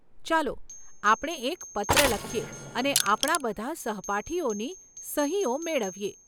ચાલો આપણે એક પત્ર લખીએ અને આપણા બધા સહપાઠીઓની સહીઓ મેળવીએ.